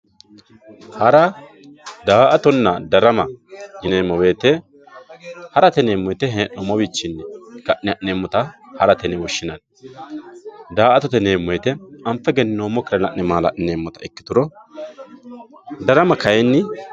hara daa"atonna darama yineemmo woyiite harate yineemmo hee'noommowiinni ka'ne ha'neemmota harate yineemmo daa"ata miottoricho anfe egenninnoommokkire anfe maala"lineemmota ikkitanna darama kayeenni